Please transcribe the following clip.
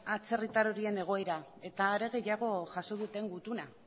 atzerritar horien egoera eta are gehiago jaso duten gutuna